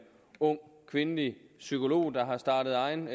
ung kvindelig psykolog der har startet egen